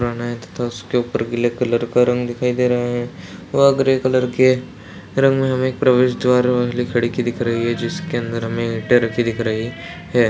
पुराना है तथा उसके ऊपर गीले कलर का रंग दिखाई दे रहा है व ग्रे कलर के रंग में हमें एक प्रवेश द्वार वाली खिड़की दिख रही है जिसके अंदर हमें ईंटे रखी दिख रही हैं।